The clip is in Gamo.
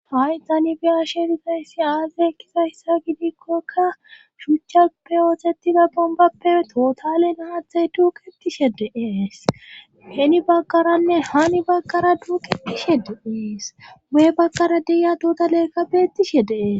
Hay tani biyashe rizayssi aazey kizayssa gidikkoka shuchchape ooxetida bombappe tootale nahathay tuuketishe deees heni baggaranne hani baggara duuketishe deees wee bakara deya dota leekkabettishe dee'es.